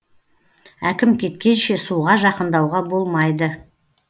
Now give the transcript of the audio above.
әкім кеткенше суға жақындауға болмайды